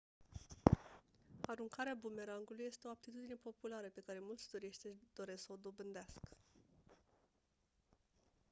aruncarea bumerangului este o aptitudine populară pe care mulți turiști își doresc să o dobândească